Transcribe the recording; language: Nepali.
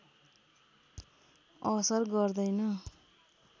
असर गर्दैन